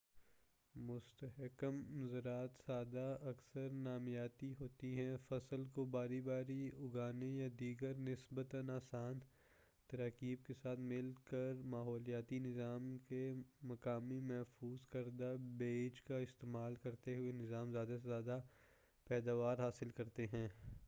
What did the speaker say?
مستحکم زراعت سادہ اکثر نامیاتی ہوتی ہے فصل کو باری باری اُگانے یا دیگر نسبتاً آسان تراکیب کے ساتھ مل کرماحولیاتی نظام کے مقامی محفوظ کردہ بیج کا استعمال کرتے ہوئے نظام زیادہ سے زیادہ پیداوار حاصل کرتا ہے